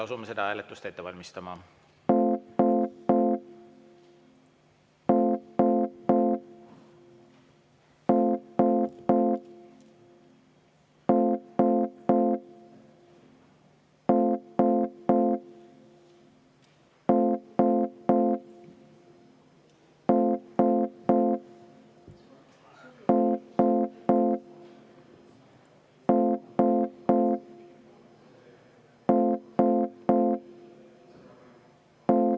Asume seda hääletust ette valmistama.